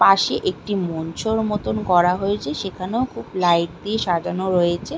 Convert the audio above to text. পাশে একটি মঞ্চর মতন করা হয়েছে সেখানেও খুব লাইট দিয়ে সাজানো রয়েছে।